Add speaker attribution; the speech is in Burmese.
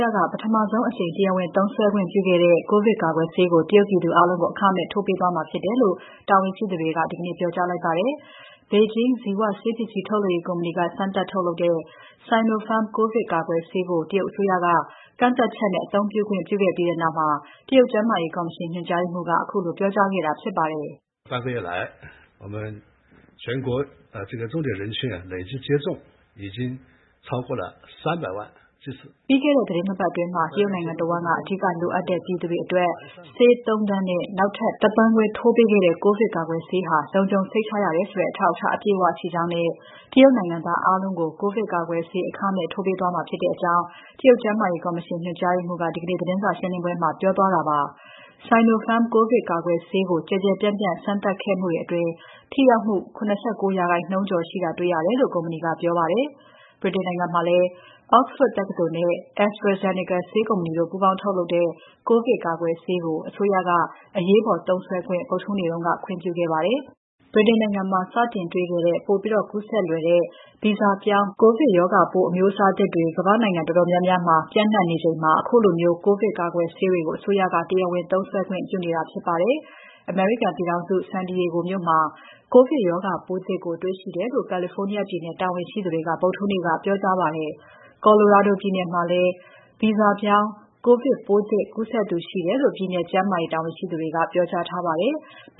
Speaker 1: ရက ပထမဆုံးအကြိမ် တရားဝင်သုံးစွဲခွင့်ပြုခဲ့တဲ့ ကိုဗစ်ကာကွယ်ဆေးကို တရုတ်ပြည်သူအားလုံးကို အခမဲ့ ထိုးပေးသွားမှာဖြစ်တယ်လို့ တာဝန်ရှိသူတွေက ဒီနေ့ပြောကြားလိုက်ပါတယ်။ ဘေဂျင်း ဇီဝဆေးပစ္စည်းထုတ်လုပ်ရေးကုမ္ပဏီက စမ်းသပ်ထုတ်လုပ်တဲ့ Sinopharm ကိုဗစ်ကာကွယ်ဆေးကို တရုတ်အစိုးရက ကန့်သတ်ချက်နဲ့ အသုံးပြုဖို့ ခွင့်ပြုခဲ့ပြီးတဲ့နောက် တရုတ်ကျန်းမာရေးကော်မရှင် ညွှန်ကြားရေးမှူးက ခုလိုပြောကြားလိုက်တာဖြစ်ပါတယ်။ "ပြီးခဲ့တဲ့ သီတင်း နှစ်ပတ်အတွင်း တရုတ်နိုင်ငံတဝန်းက အဓိကလိုအပ်တဲ့ ပြည်သူတွေအတွက် ဆေး ၃,၀၀၀,၀၀၀ နဲ့ နောက်ထပ် ၁.၅ သန်း ထိုးပေးခဲ့ပြီး ကိုဗစ်ကာကွယ်ဆေးဟာ လုံခြုံစိတ်ချရတယ်ဆိုတဲ့ အထောက်အထားအပြည့်အဝရှိကြောင်းနဲ့ တရုတ်နိုင်ငံသားအားလုံးကို ကိုဗစ်ကာကွယ်ဆေး အခမဲ့ ထိုးပေးသွားမှာဖြစ်ကြောင်း" တရုတ်ကျန်းမာရေးကော်မရှင် ညွှန်ကြားရေးမှူး Zeng Yixin က ဒီကနေ့သတင်းစာရှင်းပွဲမှာ ပြောကြားသွားခဲ့ပါတယ်။ Sinopharm ကိုဗစ်ကာကွယ်ဆေးကို ကျယ်ကျယ်ပြန့်ပြန့် စမ်းသပ်ခဲ့မှုတွေအတွင်း ထိရောက်မှု ၇၉% ကျော်ရှိတာတွေ့ရတယ်လို့ ကုမ္ပဏီက ပြောပါတယ်။ ဗြိတိန်နိုင်ငံမှာလည်း Oxford တက္ကသိုလ်နဲ့ AstraZeneca ဆေးကုမ္ပဏီတို့ ပူးပေါင်းထုတ်တဲ့ ကိုဗစ်ကာကွယ်ဆေးကို အစိုးရက အရေးပေါ်သုံးစွဲခွင့် ဗုဒ္ဓဟူးနေ့က ခွင်ပြုခဲ့ပါတယ်။ ဗြိတိန်နိုင်ငံမှာ စတင်တွေ့ခဲ့တဲ့ ပိုပြီးကူးစက်လွယ်တဲ့ ဗီဇပြောင်း ကိုဗစ်ရောဂါပိုးအမျိုးအစားသစ်တွေကို ကမ္ဘာ့နိုင်ငံတော်တော်များများမှာ စမ်းသပ်တွေ့ရှိနေချိန်မှာ ခုလို ကိုဗစ်ကာကွယ်ဆေးတွေကို အစိုးရတွေက တရားဝင်သုံးစွဲခွင့်ပြုနေတာဖြစ်ပါတယ်။ အမေရိကန်ပြည်ထောင်စု San Diego မြို့မှာ ကိုဗစ်ရောဂါပိုးသစ်ကိုတေ့ွရှိတယ်လို့ California ပြည်နယ်တာဝန်ရှိသူတွေက ဗုဒ္ဓဟူးနေ့က ပြောကြားခဲ့ပါတယ်။ Colorado ပြည်နယ်မှာလည်း ဗီဇပြောင်းကိုဗစ်ပိုးသစ်ကူးစက်သူ ရှိတယ်လို့ ပြည်နယ်ကျန်းမာရေးတာဝန်ရှိသူတွေက ပြောကြားထားပါတယ်။